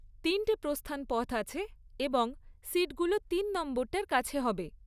তিনটে প্রস্থান পথ আছে এবং সিটগুলো তিন নম্বরটার কাছে হবে।